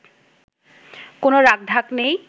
কোন রাখঢাক নেই”